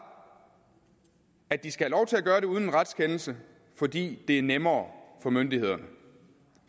at de skal have lov til at gøre det uden en retskendelse fordi det er nemmere for myndighederne